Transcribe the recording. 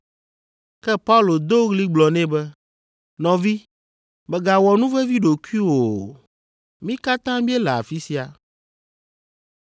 Ke Paulo do ɣli gblɔ nɛ be, “Nɔvi, mègawɔ nu vevi ɖokuiwò o; mí katã míele afi sia.”